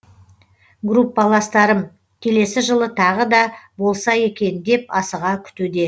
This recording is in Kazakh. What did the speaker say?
группаластарым келесі жылы тағы да болса екен деп асыға күтуде